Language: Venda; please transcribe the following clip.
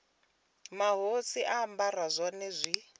mahosi a ambara zwone zwi